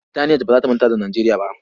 Burtaniyat ba za ta manta da Nijeriya ba.